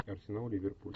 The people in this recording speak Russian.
арсенал ливерпуль